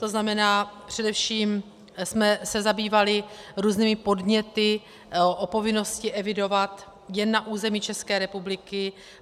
To znamená, především jsme se zabývali různými podněty o povinnosti evidovat jen na území České republiky.